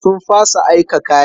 Sun fasa aika kayan.